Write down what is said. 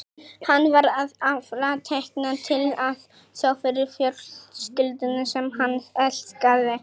Hann var að afla tekna til að sjá fyrir fjölskyldunni sem hann elskaði.